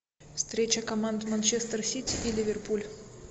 встреча команд манчестер сити и ливерпуль